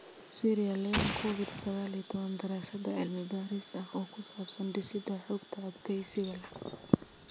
Sierra Leone Covid sagaal iyo tobbaan daraasad cilmi baaris ah oo ku saabsan dhisidda xogta xogta adkeysiga leh.